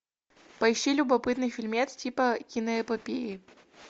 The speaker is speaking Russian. поищи любопытный фильмец типа киноэпопеи